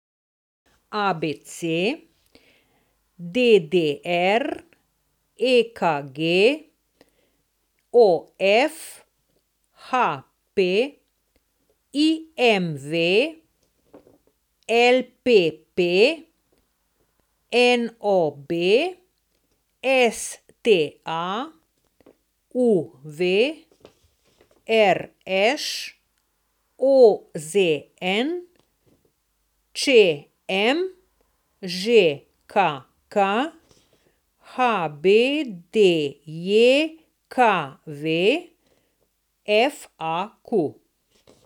ABC, DDR, EKG, OF, HP, IMV, LPP, NOB, STA, UV, RŠ, OZN, ČM, ŽKK, HBDJKV, FAQ.